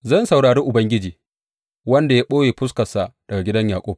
Zan saurari Ubangiji, wanda ya ɓoye fuskarsa daga gidan Yaƙub.